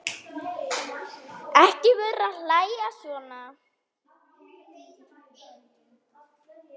Ekki vera að hlæja svona.